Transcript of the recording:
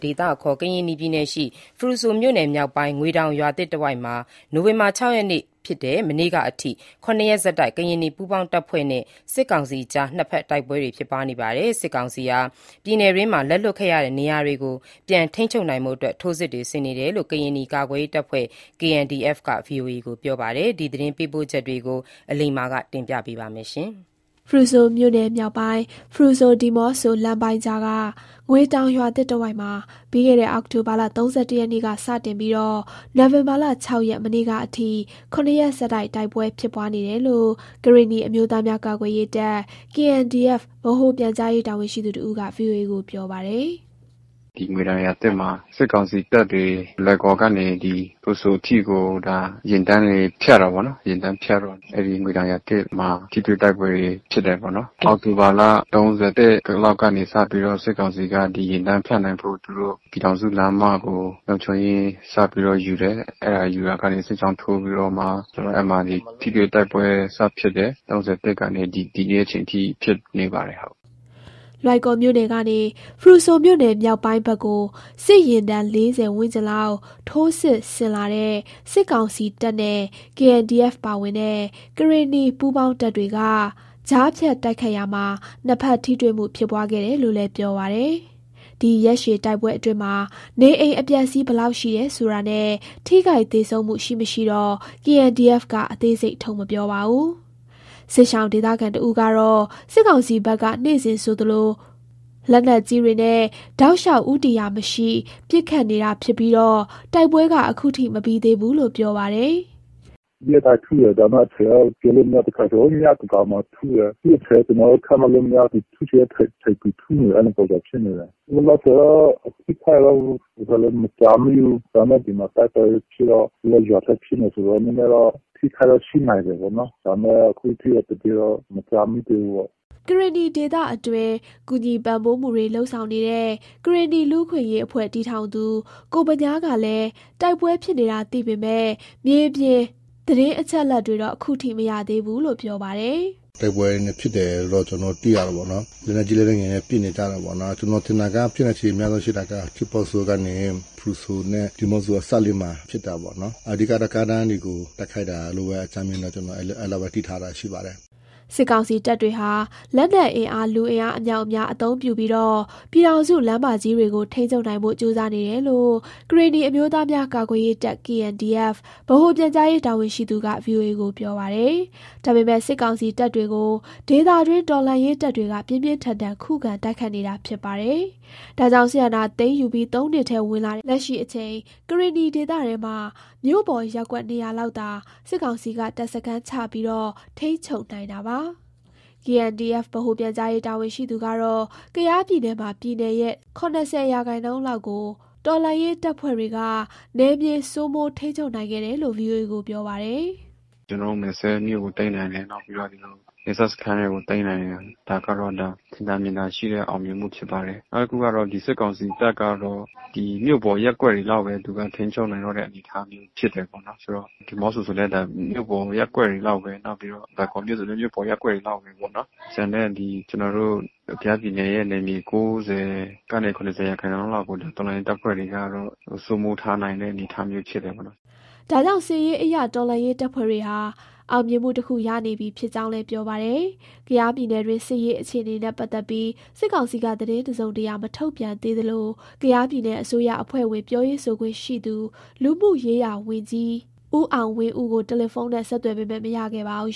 ဒေသအခေါ် ကရင်နီပြည်နယ် ဖရူဆိုမြို့နယ်မြောက်ပိုင်း ငွေတောင်ရွာသစ်တဝိုက်မှာ နိုဝင်ဘာ ၆ ရက် မနေ့ကအထိ ၇ ရက်ဆက်တိုက် ကရင်နီပူးပေါင်းတပ်ဖွဲ့ နဲ့ စစ်ကောင်စီအကြား နှစ်ဖက်တိုက်ပွဲ တွေ ဖြစ်ပွားနေပါတယ်။ စစ်ကောင်စီက ပြည်နယ်တွင်းက လက်လွှတ်ခဲ့ရတဲ့ နေရာတွေကို ပြန်ထိန်းချုပ် နိုင်ဖို့ ထိုးစစ်ဆင်နေတယ်လို့ ကရင်နီကာကွယ်ရေး တပ်ဖွဲ့ KNDF က ဗွီအိုအေကို ပြောပါတယ်။ ဒီသတင်းပေးပို့ချက်ကို အလိမ္မာက တင်ပြသွားမှာပါ။ ဖရူဆိုမြို့နယ်မြောက်ပိုင်း ဖရူဆို-ဒီးမော့ဆို လမ်းပိုင်းကြားက ငွေတောင်ရွာသစ် တဝိုက်မှာ ပြီးခဲ့တဲ့ အောက်တိုဘာလ ၃၁ ရက်နေ့ စတင်ပြီး နိုဝင်ဘာလ ၆ ရက် မနေ့ကအထိ ၇ ရက် ဆက်တိုက် တိုက်ပွဲဖြစ်ပွားနေတယ်လို့ ကရင်နီအမျိုးသားများ ကာကွယ်ရေးတပ် ဗဟိုပြန်ကြားရေး တာဝန်ရှိသူတဦးက ဗွီအိုအေကို ပြောပါတယ်။ “ ဒီငွေတောင်ရွာသစ်မှာ စစ်ကောင်စီတပ်တွေ လွိုင်ကော်ကနေ ဖရူဆိုအထိကို ယာဉ်တန်းတွေ ဖြတ်တယ်ပေါ့နော်။ ယာဉ်ဖြတ်တော့ အဲ့ဒီငွေတောင်ရွာသစ်မှာ ထိတွေ့တိုက်ပွဲဖြစ်တယ်ပေါ့နော်။ အောက်တိုဘာလ ၃၁ လောက်ကနေ စပြီးတော့ စစ်ကောင်စီက ဒီယာဉ်တန်းဖြတ်နိုင်ဖို့ သူတို့ ပြည်ထောင်စု လမ်းမကို လုံခြုံရေးစပြီးတော့ ယူတယ်။ ယူလာရာကနေ စစ်ကြောင်းထိုးပြီးတော့မှ ဆိုတော့ အဲ့မှာ ထိတွေ့တိုက်ပွဲစဖြစ်တယ်။ ၃၁ ကနေ ဒီနေ့ အချိန်ထိ ဖြစ်နေတယ်ဟုတ်။” လွိုင်ကော်မြို့နယ်ကနေ ဖရူဆိုမြို့နယ်မြောက်ပိုင်းဖက်ကို စစ်ယာဉ်တန်း ၄၀ ဝန်းကျင်လောက် ထိုးစစ်ဆင်လာတဲ့ စစ်ကောင်စီတပ်နဲ့ KNDF ပါဝင်တဲ့ ကရင်နီပူးပေါင်းတပ်တွေက ကြားဖြတ် တိုက်ခိုက်ရာ နှစ်ဖက်ထိတွေ့မှု ဖြစ်ပွားခဲ့တယ်လို့လည်း ပြောပါတယ်။ ဒီရက်ရှည်တိုက်ပွဲအတွင်းမှာ နေအိမ်အပျက်အစီး ဘယ်လောက်ရှိတယ် ဆိုတာနဲ့ ထိခိုက်သေဆုံးမှု ရှိမရှိတော့ KNDF က အသေးစိတ် ထုတ် မပြောပါဘူး။ စစ်ရှောင် ဒေသခံတဦးကတော့ စစ်ကောင်စီဘက်က နေ့စဉ်ဆိုသလို လက်နက်ကြီးတွေနဲ့ တောက်လျှောက် ဦးတည်ရာမရှိ ပစ်ခတ်နေတာ ဖြစ်ပြီး တိုက်ပွဲက ခုထိ မပြီးသေးဘူးလို့ ပြောပါတယ်။ “ရက်တိုင်းထုတယ်။ ဒါပေမယ့် အချိန်တော့ ပြောလို့မရဘူး၊ တစ်ခါကျရင် ညသန်းခေါင်းမှာ ထုလာတယ်။ သူ့အချိန်ကျနော်တို့ ခန့်မှန်းလို့မရဘူး၊ သူထုချင်တဲ့ အချိန်သူ ထုနေတယ်၊ အဲ့လိုပုံစံဖြစ်နေတယ်။ လောလောဆယ်တော့ အထိအခိုက်တော့ မကြားမိသေးဘူူး။ ဒါပေမယ့် ဒီမှာ တိုက်ပွဲဖြစ်တော့ သူတို့က ရွာထဲဖြစ်နေတယ်ဆိုတော့ နည်းနည်းတော့ အထိအခိုက်တော့ ရှိနိုင်တယ်ပေါ့နော်။ ဒါပေမယ့် အခုထိတော့ သတင်းတော့ မကြားမိသေးဘူးပေါ့။” ကရင်နီဒေသအတွင်း ကူညီပံ့ပိုးမှုတွေ လုပ်ဆောင်နေတဲ့ ကရင်နီလူ့အခွင့်အရေး အဖွဲ့ တည်ထောင် ကိုဗညားကလည်း တိုက်ပွဲဖြစ်နေတာ သိပေမယ့် မြေပြင်သတင်းအချက်အလက်တွေတော့ ခုထိမသိရသေးဘူးလို့ ပြောပါတယ်။ “တိုက်ပွဲဖြစ်တယ်လို့ ကျနော်တို့ သိရတယ်ပေါ့နော်။ လက်နက်ကြီးလက်နက်ငယ်နဲ့ ပစ်နေကြတာပေါ့နော်။ ကျနော်ထင်တာက ဖြစ်နိုင်ချေများဆုံးရှိတာက ထီးပေါဆိုကနေ ဖရူဆိုနဲ့ ဒီမော့ဆိုအစပ်လေးမှာ ဖြစ်တာပေ့ါနော်။ အဓိက ကားလမ်းတွေကို တိုက်ခိုက်တာလို့ပဲ အကြမ်းမျဉ်းပဲ ကျနော်အဲ့လောက်ပဲ သိထားတာရှိပါတယ်။” စစ်ကောင်စီတပ်တွေဟာ လက်နက်အင်အား လူအင်အားအမြောက်အများ အသုံးပြုပြီး ပြည်ထောင်စု လမ်းမကြီးတွေကို ထိန်းချုပ်နိုင်ဖို့ ကြိုးစားနေတယ်လို့ ကရင်နီအမျိုးသားများ ကာကွယ်ရေးတပ် ဗဟိုပြန်ကြားရေးတာဝန်ရှိသူက ဗွီအိုအေကို ပြောပါတယ်။ ဒါပေမယ့် စစ်ကောင်စီ တပ်တွေကို ဒေသတွင်း တော်လှန်ရေးတပ်တွေက ပြင်းပြင်းထန်ထန် ခုခံ တိုက်ခိုက်နေတာ ဖြစ်ပါတယ်။ ဒါကြောင့် စစ်အာဏာသိမ်းယူပြီး ၃နှစ်ထဲ ဝင်လာတဲ့ လက်ရှိအချိန် ကရင်နီဒေသထဲမှာ မြို့ပေါ်ရပ်ကွက် နေရာလောက်သာ စစ်ကောင်စီက တပ်စခန်းချပြီး ထိန်းချုပ်နိုင်တာပါ။ KNDF ဗဟိုပြန်ကြားရေးတာဝန်ရှိသူက တော့ ကယားပြည်နယ်မှာ ပြည်နယ်ရဲ့ ၇၀ ရာခိုင်နှုန်း လောက်ကို တော်လှန်ရေးတပ်ဖွဲ့တွေက နယ်မြေ စိုးမိုးထိန်းချုပ်နိုင်ခဲ့တယ်လို့ ဗွီအိုအေကို ပြော ပါတယ်။ “ကျနော်တို့ မယ်စဲ့မြို့ကို သိမ်းနိုင်တယ်။ နောက်ပြီးတော့ နယ်စပ်စခန်းတွေကို သိမ်းနိုင်တယ်။ ဒါကတော့ ထင်သာမြင်သာရှိတဲ့ အောင်မြင်မှုဖြစ်ပါတယ်။ နောက်တခုကတော့ စစ်ကောင်စီတပ်ကတော့ ဒီမြို့ပေါ်ရပ်ကွက်တွေလောက်ပဲ သူက ထိန်းချုပ်နိုင်တယ် အနေအထားမျိုး ဖြစ်တယ်ပေါ့နော်။ ဆိုတော့ ဒီးမော့ဆိုလည်း မြို့ပေါ်ရပ်ကွက်တွေ လောက်ပဲ။ နောက်ပြီးတော့ လွိုင်ကော်မြို့ဆိုလည်း မြို့ပေါ်ရပ်ကွက်တွေ လောက်ပဲပေါ့နော်။ ကျန်တဲ့ ကျနော်တို့ ကယားပြည်နယ်ရဲ့ နယ်မြေ ၉၀ ကနေ ၇၀ ရာခိုင်နှုန်းလောက်ကို တော်လှန်ရေးတပ်ဖွဲ့တွေက စိုးမိုးထားနိုင်တဲ့ အနေအထား မျိုးဖြစ်တယ်ပေါ့နော်။” ဒါကြောင့် စစ်ရေးအရ တော်လှန်ရေးတပ်ဖွဲ့တွေဟာ အောင်မြင်မှုတခု ရနေပြီ ဖြစ်ကြောင်းလည်း ပြောပါတယ်။ ကယားပြည်နယ်တွင်း စစ်ရေး အခြေနေနဲ့ ပတ်သက်ပြီး စစ်ကောင်စီက သတင်းတစုံတရာ မထုတ်ပြန်သေးသလို ကယားပြည်နယ် အစိုးရအဖွဲ့ဝင် ပြောရေးဆိုခွင့်ရှိသူ လူမှုရေးရာဝန်ကြီး ဦးအောင်ဝင်းဦးကို တယ်လီဖုန်းနဲ့ ဆက်သွယ်ပေမယ့် မရခဲ့ပါဘူး